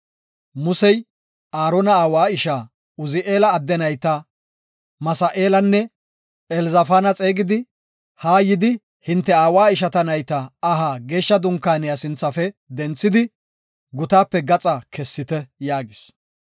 Musey Aarona aawa ishaa Uzi7eela adde nayta Misa7eelanne Elzafaana xeegidi, “Haa yidi hinte aawa ishaa nayta aha Geeshsha Dunkaaniya sinthafe denthidi, gutaape gaxa kessite” yaagis.